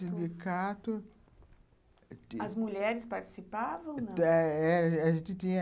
No sindicato... As mulheres participavam? não? a gente tinha